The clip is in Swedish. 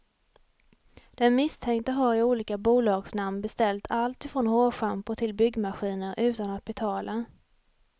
Den misstänkte har i olika bolagsnamn beställt allt ifrån hårschampo till byggmaskiner utan att betala.